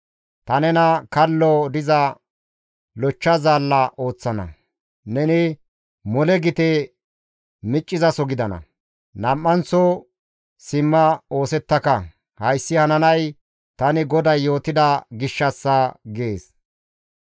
Ta nena kallo diza lochcha zaalla ooththana; neni mole gite miccizaso gidana; nam7anththo simma oosettaka; hayssi hananay tani GODAY yootida gishshassa› gees.